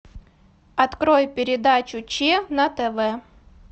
открой передачу че на тв